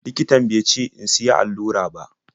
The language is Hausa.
Likitan be ce in siya allura ba.